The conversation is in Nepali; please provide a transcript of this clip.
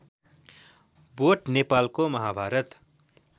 बोट नेपालको महाभारत